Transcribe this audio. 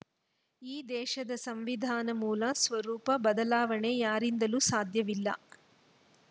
ಈ ದೇಶದ ಸಂವಿಧಾನದ ಮೂಲ ಸ್ವರೂಪ ಬದಲಾವಣೆ ಯಾರಿಂದಲೂ ಸಾಧ್ಯವಿಲ್ಲ